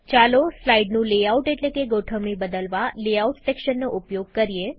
ચાલો સ્લાઈડનું લેઆઉટ એટલેકે ગોઠવણી બદલવા લેઆઉટ સેક્શનનો ઉપયોગ કરીએ